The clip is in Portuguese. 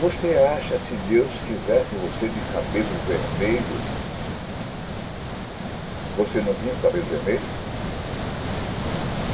Você acha que se Deus quisesse você de cabelos vermelho, você não vinha com cabelos vermelhos?